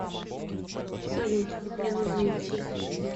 салют мне нужно идти